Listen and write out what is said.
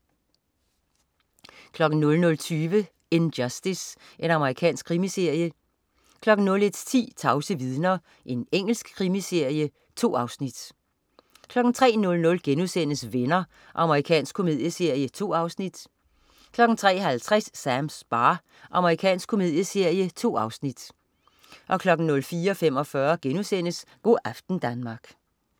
00.20 In Justice. Amerikansk krimiserie 01.10 Tavse vidner. Engelsk krimiserie. 2 afsnit 03.00 Venner.* Amerikansk komedieserie. 2 afsnit 03.50 Sams bar. Amerikansk komedieserie. 2 afsnit 04.45 Go' aften Danmark*